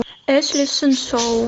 эшли хиншоу